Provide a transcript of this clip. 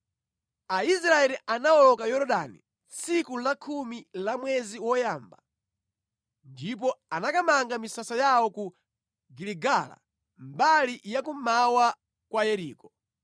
Aisraeli anawoloka Yorodani tsiku lakhumi la mwezi woyamba ndipo anakamanga misasa yawo ku Giligala mbali ya kummawa kwa Yeriko.